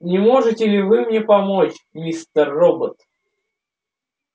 не можете ли вы мне помочь мистер робот